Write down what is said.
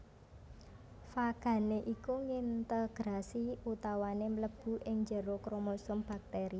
Fagané iku ngintegrasi utawané mlebu ing njero kromosom baktèri